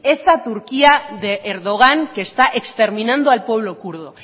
esa turquía de erdogan que está exterminando al pueblo kurdo